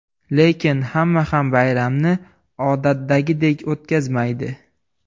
Lekin hamma ham bayramni odatdagidek o‘tkazmaydi.